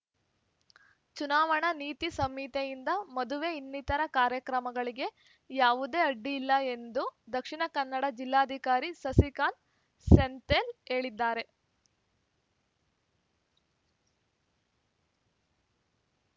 ಚುನಾವಣಾ ನೀತಿ ಸಂಹಿತೆಯಿಂದ ಮದುವೆ ಇನ್ನಿತರ ಕಾರ್ಯಕ್ರಮಗಳಿಗೆ ಯಾವುದೇ ಅಡ್ಡಿ ಇಲ್ಲ ಎಂದು ದಕ್ಷಿಣ ಕನ್ನಡ ಜಿಲ್ಲಾಧಿಕಾರಿ ಸಸಿಕಾಂತ್ ಸೆಂಥಿಲ್ ಹೇಳಿದ್ದಾರೆ